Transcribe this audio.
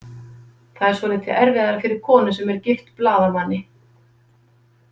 Það er svolítið erfiðara fyrir konu sem er gift blaðamanni.